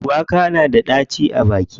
Shuwaka na da ɗaci a baki.